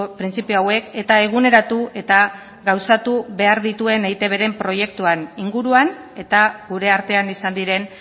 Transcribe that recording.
printzipio hauek eta eguneratu eta gauzatu behar dituen eitbren proiektuaren inguruan eta gure artean izan diren